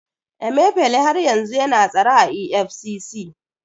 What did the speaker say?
Emifele har yanzu yana tsare a EFCC.